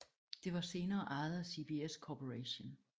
Det var senere ejet af CBS Corporation